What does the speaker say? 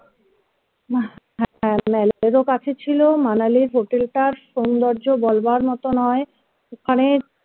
male ও কাছে ছিল manali ইর হোটেলটার সৌন্দর্য বলবার মতো নয় ওখানের